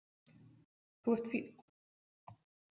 Þú ert fínn.